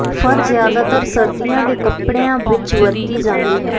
ਫਰ ਜ਼ਿਆਦਾਤਰ ਸਰਦੀਆਂ ਦੇ ਕੱਪੜਿਆਂ ਵਿੱਚ ਵਰਤੀ ਜਾਂਦੀ ਹੈ